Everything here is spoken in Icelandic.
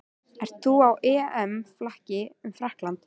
Ert þú á EM-flakki um Frakkland?